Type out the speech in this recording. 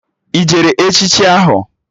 Ị jere echichi ahụ?